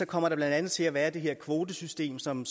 kommer der blandt andet til at være det her kvotesystem som